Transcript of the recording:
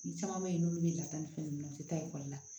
Ni caman bɛ yen n'olu bɛ lata ni fɛn ninnu u tɛ taa ekɔli la